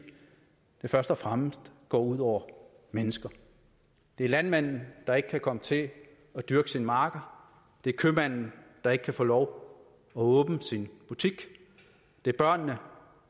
det først og fremmest går ud over mennesker det er landmanden der ikke kan komme til at dyrke sine marker det er købmanden der ikke kan få lov at åbne sin butik det er børnene